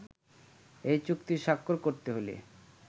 এই চুক্তি স্বাক্ষর করতে হলে